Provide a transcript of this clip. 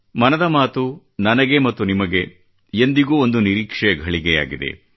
ಮನದ ಮಾತು ನನಗೆ ಮತ್ತು ನಿಮಗೆ ಎಂದಿಗೂ ಒಂದು ನಿರೀಕ್ಷೆಯ ಘಳಿಗೆಯಾಗಿದೆ